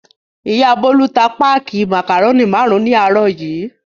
Ìyá Bólú ta páákì màkàrónì márùn-ún ní àárọ̀ yìí.